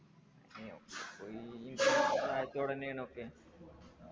യോ പോയി ചോടെന്നെ ഒക്കെ